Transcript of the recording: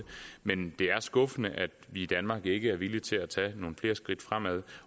men det er skuffende at vi i danmark ikke er villige til at tage nogle flere skridt fremad